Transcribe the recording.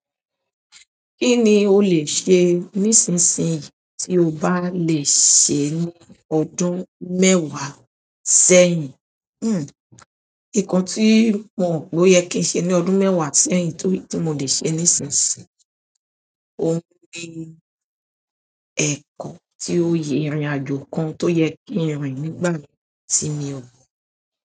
Kí ni o lè ṣe nísinsìnyí tí o bá lè ṣe ní ọdún mẹ́wàá sẹ́yìn? Hm. Nǹkan tí mo rò poye kí n ṣe ní ọdún mẹ́wàá sẹ́yìn to tí mo lè ṣe nísinsìnyí, óuń ni ẹ̀kọ́ tí ó yẹ, ìrìnàjò kan tó yẹ kí ń rìn nígbà yen tì mi ọ gbọ̀n.